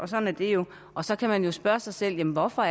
sådan er det jo og så kan man jo spørge sig selv hvorfor